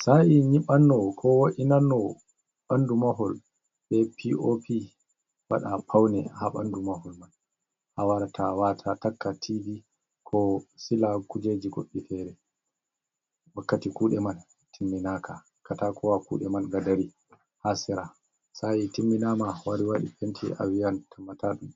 Saa'i nyiɓanno koo wo’inanno ɓanndu mahol bee pii'oopi waɗaa pawne haa ɓanndu mahol man, a warata waata a takka tiivi koo sila kuujeeji goɗɗi feere. Wakkati kuuɗe man timminaaka kataakowa kuuɗe man nga dari ha sera sa’i timminaama to a wari waɗi penti a wi'an tammataaɗun